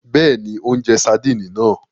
Bẹẹni, o njẹ sardini náà